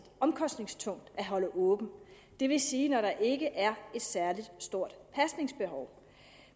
omkostningstungt at holde åbent det vil sige når der ikke er et særlig stort pasningsbehov